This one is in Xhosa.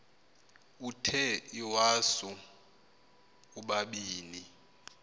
uthe iwasu ubabini